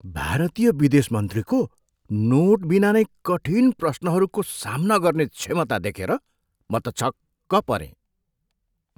भारतीय विदेश मन्त्रीले नोटबिना नै कठिन प्रश्नहरूको सामना गर्ने क्षमता देखेर म त छक्क परेँ।